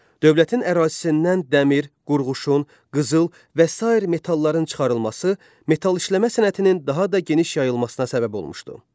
Dövlətin ərazisindən dəmir, qurğuşun, qızıl və sair metalların çıxarılması metal işləmə sənətinin daha da geniş yayılmasına səbəb olmuşdu.